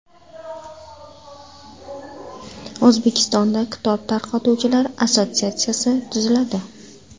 O‘zbekistonda kitob tarqatuvchilar assotsiatsiyasi tuziladi.